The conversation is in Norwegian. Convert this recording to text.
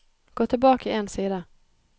Gå tilbake én side